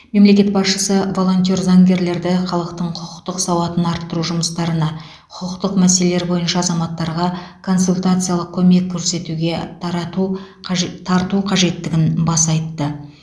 мемлекет басшысы волонтер заңгерлерді халықтың құқықтық сауатын арттыру жұмыстарына құқықтық мәселелер бойынша азаматтарға консультациялық көмек көрсетуге тарату қаж тарту қажеттігін баса айтты